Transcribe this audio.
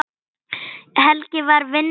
Helgi var vinstri maður.